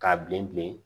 K'a bilen bilen